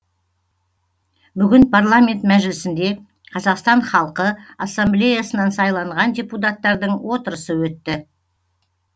бүгін парламент мәжілісінде қазақстан халқы ассамблеясынан сайланған депутаттардың отырысы өтті